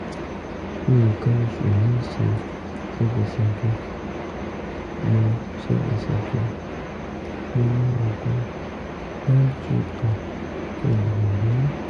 nǹkan oṣù mi ń ṣe ségesège mo ségesège mo lo oògùn m two tone kí n lè lóyún